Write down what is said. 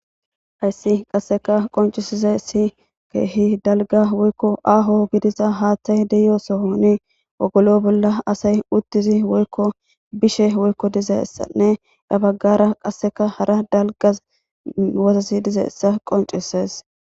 Hayssi qasseka qoncisiza si keehi dalga woykko aaho gidiza haaththay deyo sohoni ogolo bolla asay uttizi woykko bishe woykko dizaissanne dhabaggara qasseka hara dalgas wosasi dizaessa qoncises